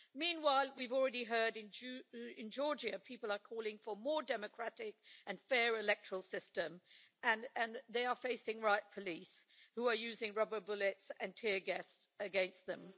Meanwhile, we have already heard in Georgia that people are calling for a more democratic and fair electoral system and they are facing riot police who are using rubber bullets and tear gas against them.